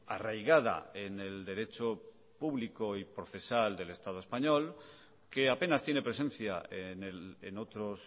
arraigada en el derecho público y procesal del estado español que apenas tiene presencia en otros